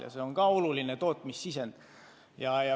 Ja see on ka oluline sisend tootmisel.